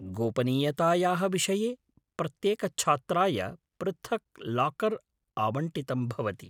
गोपनीयतायाः विषये प्रत्येकच्छात्राय पृथक् लाकर् आवण्टितं भवति।